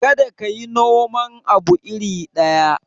Kada ka yi noman abu iri ɗaya.